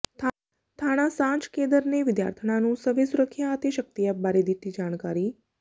ਥਾਣਾ ਸਾਂਝ ਕੇਦਰ ਨੇ ਵਿਦਿਆਰਥਣਾਂ ਨੂੰ ਸਵੈ ਸੁਰੱਖਿਆ ਅਤੇ ਸ਼ਕਤੀ ਐਪ ਬਾਰੇ ਦਿੱਤੀ ਜਾਣਕਾਰੀ